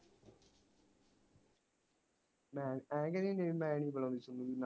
ਮੈਂ ਐ ਕਿਹੜੀ ਹੁੰਦੀ ਮੈਂ ਨੀ ਬਲੋਂਦੀ